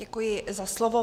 Děkuji za slovo.